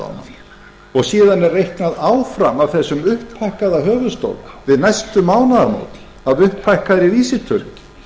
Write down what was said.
lána og síðan er reiknað áfram af þessum upphækkaða höfuðstól við næstu mánaðamót af upphækkaðri vísitölu